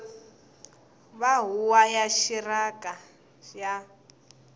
wa huvo ya rixaka ya